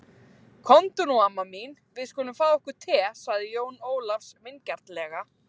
Komdu nú amma mín, við skulum fá okkur te, sagði Jón Ólafur vingjarnlega.